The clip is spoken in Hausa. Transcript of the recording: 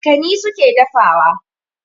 Makani su ke dafawa.